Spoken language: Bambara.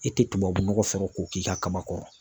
E tɛ tubabunɔgɔ sɔrɔ k'o k'i ka kaba kɔrɔ.